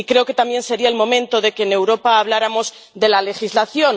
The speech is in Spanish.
Y creo que también sería el momento de que en Europa habláramos de la legislación.